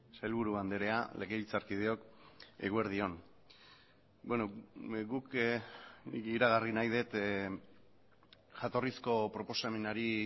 sailburu andrea legebiltzarkideok eguerdi on guk iragarri nahi dut jatorrizko proposamenari